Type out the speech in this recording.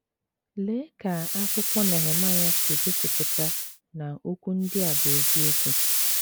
Lee ka akwụkwọ Nehemaịa si gosipụta na okwu ndị a bụ eziokwu!